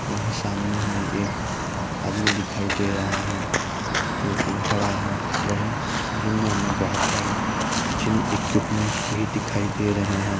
वहीं सामने हमें एक आदमी दिखाई दे रहा है जोकि खड़ा है | वहीं जिम में हमें बोहोत सारे जिम इक्यूपमेन्ट भी दिखाई दे रहें हैं |